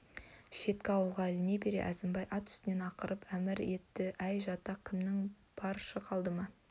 шеткі ауылға іліне бере әзімбай ат үстінен ақырып әмір етті әй жатақ кімің бар шық алдыма